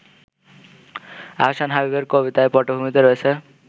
আহসান হাবীবের কবিতার পটভূমিতে রয়েছে